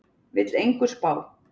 Vill engu spá